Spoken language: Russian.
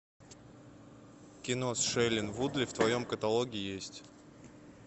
кино с шейлин вудли в твоем каталоге есть